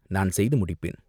நான் செய்து முடிப்பேன்.